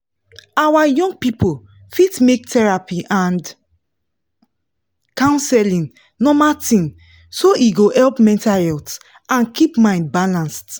our young people fit make therapy and counseling normal thing so e go help mental health and keep mind balanced.